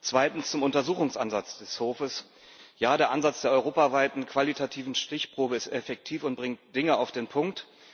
Zweitens zum Untersuchungsansatz des Hofes Ja, der Ansatz der europaweiten qualitativen Stichprobe ist effektiv und bringt Dinge auf den Punkt.